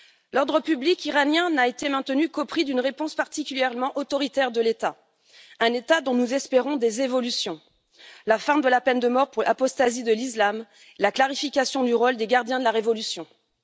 L'ordre public iranien n'a été maintenu qu'au prix d'une réponse particulièrement autoritaire de l'État, un État dont nous espérons des évolutions la fin de la peine de mort pour apostasie de l'Islam et la clarification du rôle des gardiens de la révolution, par exemple.